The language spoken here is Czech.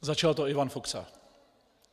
Začal to Ivan Fuksa.